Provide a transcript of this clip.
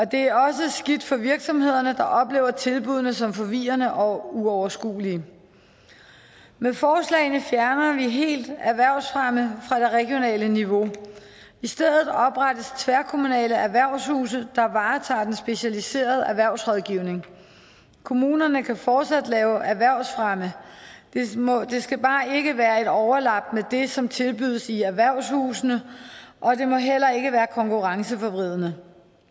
det er også skidt for virksomhederne der oplever tilbuddene som forvirrende og uoverskuelige med forslagene fjerner vi helt erhvervsfremme fra det regionale niveau i stedet oprettes tværkommunale erhvervshuse der varetager den specialiserede erhvervsrådgivning kommunerne kan fortsat lave erhvervsfremme det skal bare ikke være et overlap af det som tilbydes i erhvervshusene og det må heller ikke være konkurrenceforvridende